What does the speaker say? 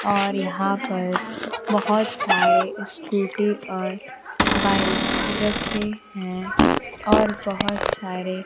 और यहां पर बहोत सारे स्कूटी और बाइक रखे हैं और बहोत सारे--